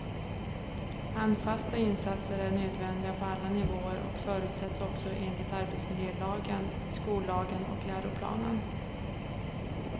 Handfasta insatser är nödvändiga på alla nivåer och förutsätts också enligt arbetsmiljölagen, skollagen och läroplanen.